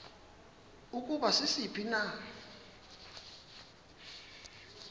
ukuba sisiphi na